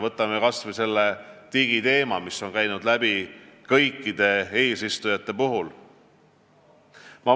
Võtame kas või digiteema, mille eest on seisnud kõik eesistujamaad.